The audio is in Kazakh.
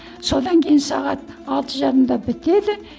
содан кейін сағат алты жарымда бітеді